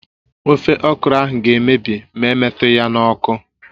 Ofe okro ahụ ga-emebi mà emetughi ya n'ọkụ